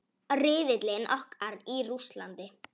Riðillinn okkar í Rússlandi.